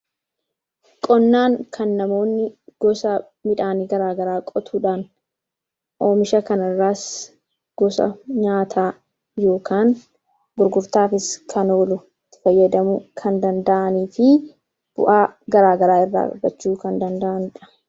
qonnaan kan namoonni gosa midhaanii garaagaraa qotuudhaan oomisha kanirraas gosa nyaata yookan burgurtaafis kan oolu fayyadamu kan danda'anii fi bu'aa garaagaraa irraarachuu kan danda'andha